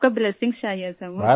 آپ کی دعائیں چاہئیں سر مجھے